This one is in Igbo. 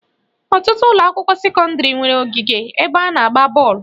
Ọtụtụ ụlọakwụkwọ sekọndịrị nwere ogige ebe a na-agba bọọlụ